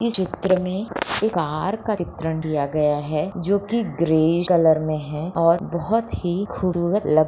इस चित्र में एक कार का चित्रण किया गया है जो की ग्रेइश कलर में है और बहुत ही खूबसूरत लग--